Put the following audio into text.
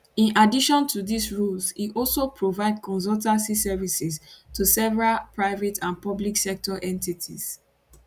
in addition to dis roles im also provide consultancy services to several private and public sector entities